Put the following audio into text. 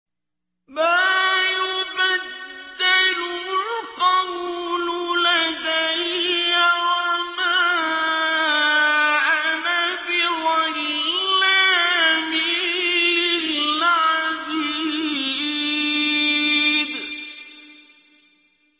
مَا يُبَدَّلُ الْقَوْلُ لَدَيَّ وَمَا أَنَا بِظَلَّامٍ لِّلْعَبِيدِ